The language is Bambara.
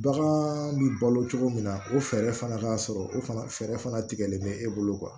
Bagan bi balo cogo min na o fɛɛrɛ fana ka sɔrɔ o fana fɛɛrɛ fana tigɛlen bɛ e bolo